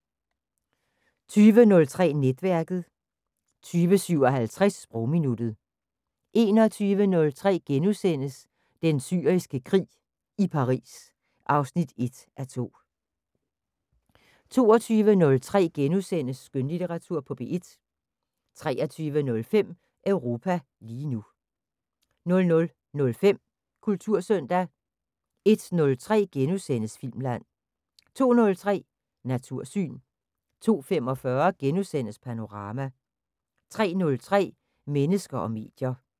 20:03: Netværket 20:57: Sprogminuttet 21:03: Den Syriske Krig – i Paris 1:2 * 22:03: Skønlitteratur på P1 * 23:05: Europa lige nu 00:05: Kultursøndag 01:03: Filmland * 02:03: Natursyn 02:45: Panorama * 03:03: Mennesker og medier